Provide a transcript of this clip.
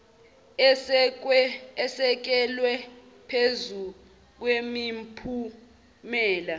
esekelwe phezu kwemiphumela